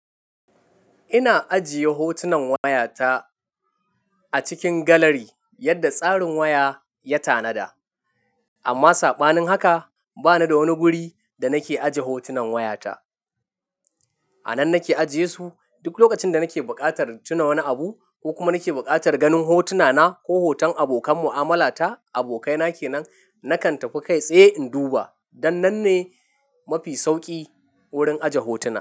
Ina ajiye hotunan wayata a cikin galari, yadda tsarin waya ya tanada. Amma saɓanin haka, bani da wani guri da nake aje hotunan wayata. A nan nake ajiyesu, duk lokacin da nake buƙatar tuna wani abu ko kuma nake buƙatar ganin hotuna na ko hoton abokan mu'amala ta abokaina kenan, nakan tafi kai tsaye in duba. Dan nan ne mafi sauƙi wurin aje hotuna.